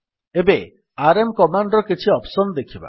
ଏବେ RM command ର କିଛି ଅପ୍ସନ୍ ଦେଖିବା